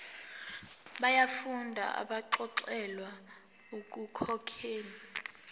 yabafundi abaxolelwa ekukhokheni